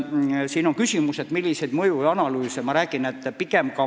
Siin küsiti mõjuanalüüside kohta.